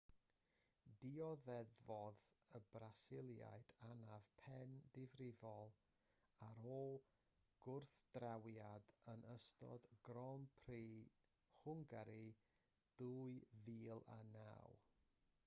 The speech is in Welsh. dioddefodd y brasiliad anaf pen difrifol ar ôl gwrthdrawiad yn ystod grand prix hwngari 2009